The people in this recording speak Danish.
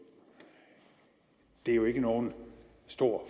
er jo ikke nogen stor